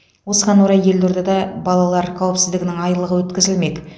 осыған орай елордада балалар қауіпсіздігінің айлығы өткізілмек